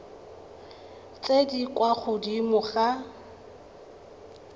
tse di kwa godimo ga